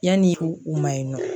Yanni u ma